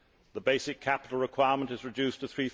The basic capital requirement is reduced to EUR